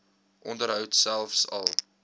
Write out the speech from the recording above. onderhoud selfs al